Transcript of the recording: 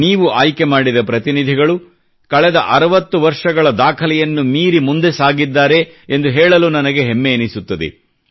ನೀವು ಆಯ್ಕೆ ಮಾಡಿದ ಪ್ರತಿನಿಧಿಗಳು ಕಳೆದ 60 ವರ್ಷಗಳ ದಾಖಲೆಯನ್ನು ಮೀರಿ ಮುಂದೆ ಸಾಗಿದ್ದಾರೆ ಎಂದು ಹೇಳಲು ನನಗೆ ಹೆಮ್ಮೆ ಎನಿಸುತ್ತದೆ